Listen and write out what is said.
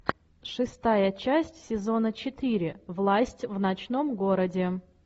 шестая часть сезона четыре власть в ночном городе